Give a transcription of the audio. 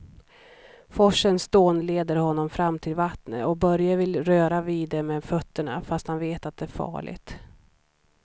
Forsens dån leder honom fram till vattnet och Börje vill röra vid det med fötterna, fast han vet att det är farligt.